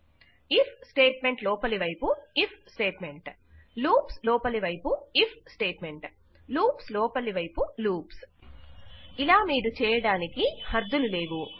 • if statement లోపలివైపు if statement • loops లోపలివైపు if statement • loops లోపలివైపు లూప్స్ ఇలా మీరు చేయడాలికి హద్దులు లేవు